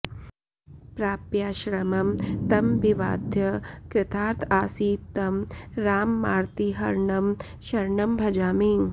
प्राप्याश्रमं तमभिवाद्य कृतार्थ आसीत् तं राममार्तिहरणं शरणं भजामि